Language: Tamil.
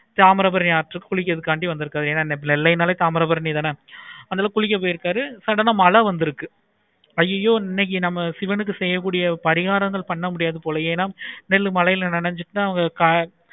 தாமிரபரணி ஆற்றுக்கு குளிக்கிறதுக்காக வந்துருக்காரு ஏன நெல்லைநாளே தாமிரபரணி தான் ஆஹ் அங்க குளிக்க போயிருக்காரு sudden ஆஹ் மழை வந்துருக்கு. அய்யயோ இன்னைக்கு நம்ம சிவனுக்கு செய்ய கூடிய பரிகாரங்கள் பண்ண முடியாது போலயே நெல்லு மழையில நினைச்சிட்டு தான்